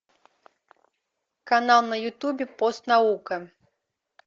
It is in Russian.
канал на ютубе постнаука